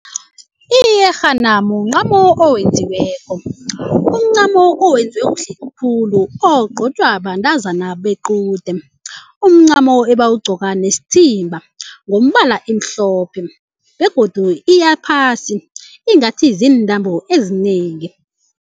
Iyerhana muncamo okwenziweko umncamo owenziwe kuhle khulu ogcotshwa bantazana bequde umncamo abawugcoka nesithimba ngombala imhlophe begodu iyaphasi ingathi ziintambo ezinengi.